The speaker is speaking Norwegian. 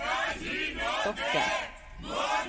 stokker